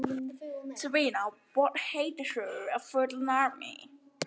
Passa má upp á það með hollu mataræði og hreyfingu.